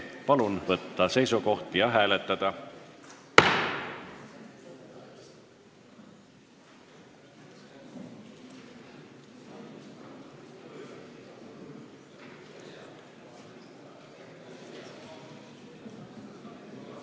Palun võtta seisukoht ja hääletada!